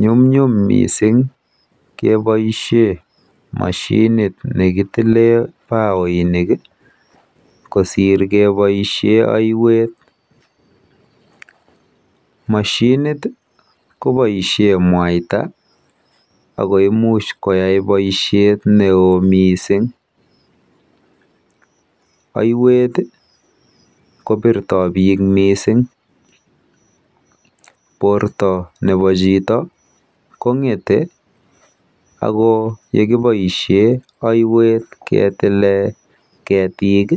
Nyumnyum mising keboishe mashinit nekitile baoinik kosir keboishe aiwet. Mashinit koboishe mwaita ako imuch koyai boishet neo mising. Aiwet, kopirtoi biik mising. Porto nepo chito kong'ete ako yekiboishe aiwet ketile ketik,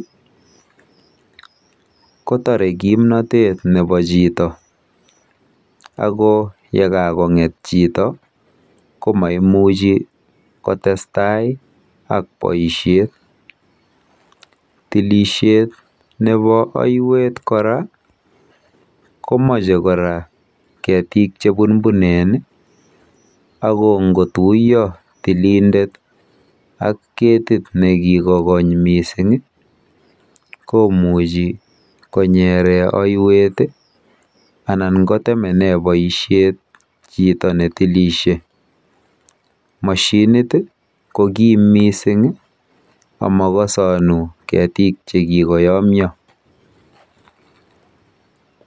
kotore kimnotet nepo chito ako yekakong'et chito ko maimuchi kotestai ak boishet. Tilishet nepo aiwet kora komoche kora ketik chebunbunen ako ngotuiyo tilindet ak ketit nekikokony mising komuchi konyere aiwet anan kotemene boishet chito netilishe. Mashinit ko kim mising amakosonu ketik chekikoyomyo.